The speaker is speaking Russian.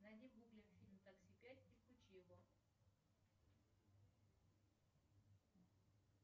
найди в гугле фильм такси пять и включи его